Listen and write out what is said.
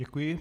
Děkuji.